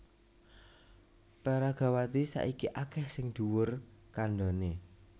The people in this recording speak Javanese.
Peragawati saiki akèh sing dhuwur kandhané